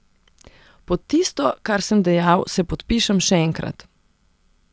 Pod tisto, kar sem dejal, se podpišem še enkrat.